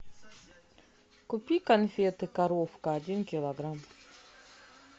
купи конфеты коровка один килограмм